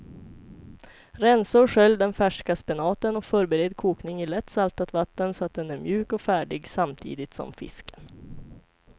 Rensa och skölj den färska spenaten och förbered kokning i lätt saltat vatten så att den är mjuk och färdig samtidigt som fisken.